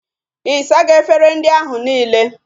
Ị sago efere ndị ahụ nile?